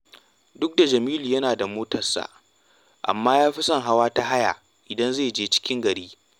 Duk da Jamilu yana da mota, amma ya fi son hawa ta haya idan zai je cikin gari